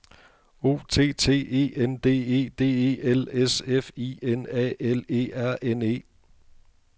O T T E N D E D E L S F I N A L E R N E